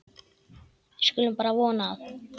Við skulum bara vona að